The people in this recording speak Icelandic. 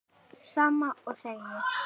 Sama og þegið.